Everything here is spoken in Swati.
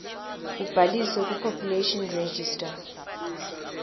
kubhaliswe kupopulation register